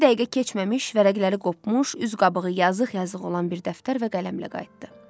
İki dəqiqə keçməmiş vərəqləri qopmuş, üz qabığı yazıq-yazıq olan bir dəftər və qələmlə qayıtdı.